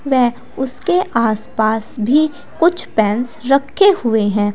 उसके आसपास भी कुछ पेंस रखे हुए हैं।